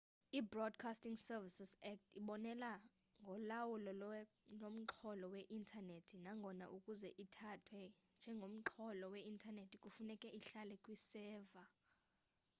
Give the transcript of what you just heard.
ibroadcasting services act ibonelela ngolawulo lomxholo we-intanethi nangona ukuze ithathwe njengomxholo we-intanethi kufuneka ihlale kwiseva